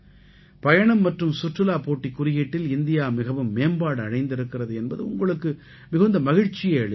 பயணம் மற்றும் சுற்றுலா போட்டிக் குறியீட்டில் இந்தியா மிகவும் மேம்பாடு அடைந்திருக்கிறது என்பது உங்களுக்கு மிகுந்த மகிழ்ச்சியை அளிக்கலாம்